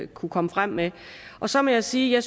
kunne komme frem med og så må jeg sige at